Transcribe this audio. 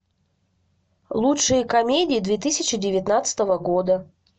лучшие комедии две тысячи девятнадцатого года